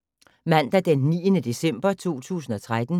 Mandag d. 9. december 2013